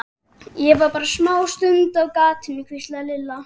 Ég var bara smástund á gatinu. hvíslaði Lilla.